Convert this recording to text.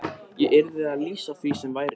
Ég yrði að lýsa því sem væri.